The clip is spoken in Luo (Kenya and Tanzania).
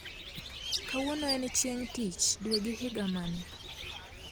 Kawuon en chieng tich dwe gi higa mane